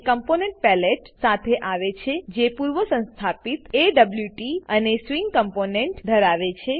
component palette component palette સાથે આવે છે જે પૂર્વસંસ્થાપિત એવોટ અને સ્વિંગ કોમ્પોનન્ટ્સ સ્વીંગ કમ્પોનેંટો ધરાવે છે